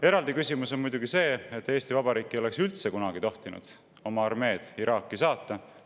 Eraldi küsimus on muidugi see, et Eesti Vabariik ei oleks üldse kunagi tohtinud oma armeed Iraaki saata.